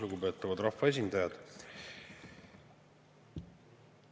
Lugupeetavad rahvaesindajad!